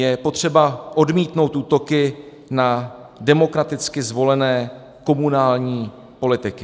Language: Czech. Je potřeba odmítnout útoky na demokraticky zvolené komunální politiky.